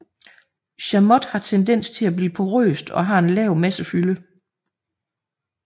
Chamotte har tendens til at blive porøst og har en lav massefylde